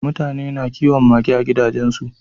Mutane na kiwon mage a gidajen su